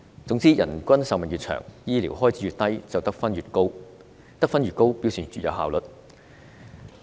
總之，人均壽命越長，醫療開支越低，得分便越高，而得分越高表示越有效率。